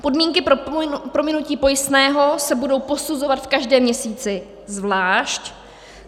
Podmínky pro prominutí pojistného se budou posuzovat v každém měsíci zvlášť.